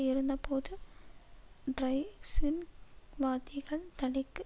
இருந்தபோது ட்ரைசின்வாதிகள் தடைக்கு